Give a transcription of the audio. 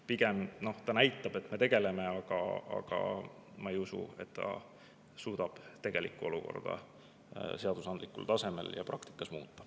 Pigem see näitab, et me tegeleme, aga ma ei usu, et see suudab tegelikku olukorda seadusandlikul tasemel ja praktikas muuta.